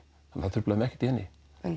það truflaði mig ekkert í henni